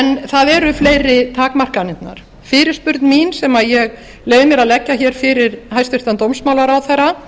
hafi eru fleiri takmarkanirnar fyrirspurn mín sem ég leyfi mér að leggja fyrir hæstvirtan dómsmálaráðherra